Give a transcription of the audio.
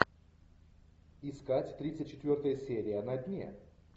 искать тридцать четвертая серия на дне